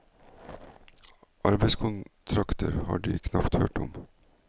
Arbeidskontrakter har de knapt hørt om.